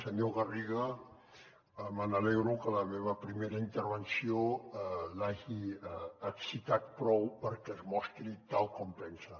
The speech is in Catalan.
senyor garriga m’alegro que la meva primera intervenció l’hagi excitat prou perquè es mostri tal com pensa